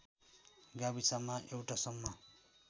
गाविसमा एउटा सम्म